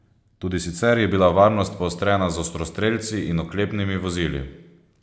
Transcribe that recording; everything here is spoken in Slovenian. Tudi sicer je bila varnost poostrena z ostrostrelci in oklepnimi vozili.